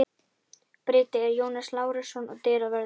Bryti er Jónas Lárusson og dyravörður